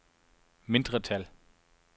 mindretal